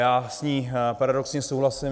Já s ní paradoxně souhlasím.